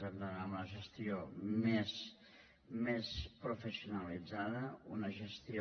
hem d’anar a una gestió més professionalitzada una gestió